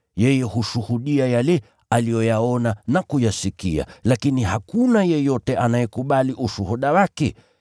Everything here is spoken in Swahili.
Yeye hushuhudia yale aliyoyaona na kuyasikia, lakini hakuna yeyote anayekubali ushuhuda wake.